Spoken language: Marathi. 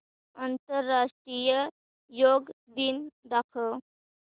आंतरराष्ट्रीय योग दिन दाखव